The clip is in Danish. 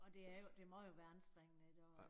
Og det er jo det må jo være anstrengende i dag